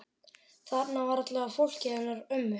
Þarna var aðallega fólkið hennar mömmu.